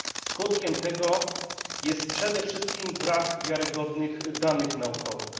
Skutkiem tego jest przede wszystkim brak wiarygodnych danych naukowych.